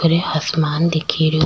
ऊपरे आसमान दिखे रो।